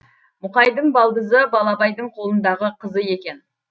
мұқайдың балдызы балабайдың қолындағы қызы екен